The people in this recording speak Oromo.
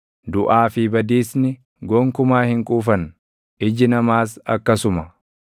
Duʼaa fi Badiisni gonkumaa hin quufan; iji namaas akkasuma.